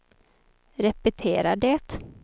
repetera det